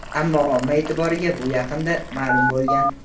Ammo omma e’tiboriga bu yaqinda ma’lum bo‘lgan.